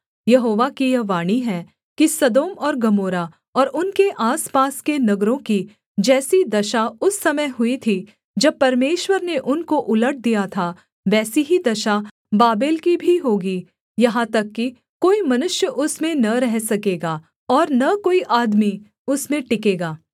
यहोवा की यह वाणी है कि सदोम और गमोरा और उनके आसपास के नगरों की जैसी दशा उस समय हुई थी जब परमेश्वर ने उनको उलट दिया था वैसी ही दशा बाबेल की भी होगी यहाँ तक कि कोई मनुष्य उसमें न रह सकेगा और न कोई आदमी उसमें टिकेगा